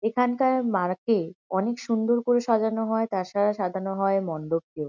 এখানকার মার-কে অনেক সুন্দর করে সাজানো হয়। তার সাথে সাজানো হয় মণ্ডপকেও।